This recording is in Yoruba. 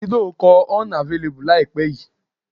Davido kọ 'Unavailable' láìpẹ́ yìí.